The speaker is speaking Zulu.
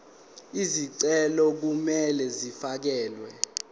izicelo kumele zifakelwe